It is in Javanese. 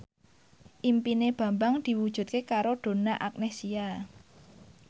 impine Bambang diwujudke karo Donna Agnesia